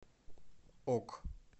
ок